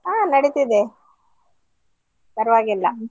ಹಾ ನಡೀತಿದೆ ಪರ್ವಾಗಿಲ್ಲ.